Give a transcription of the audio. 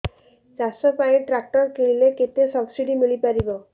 ଚାଷ ପାଇଁ ଟ୍ରାକ୍ଟର କିଣିଲେ କେତେ ସବ୍ସିଡି ମିଳିପାରିବ